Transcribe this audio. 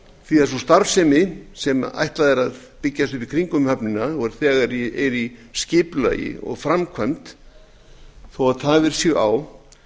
því sú starfsemi sem ætlað er að byggja upp í kringum höfnina og er þegar í skipulagi og framkvæmd þó að tafir séu á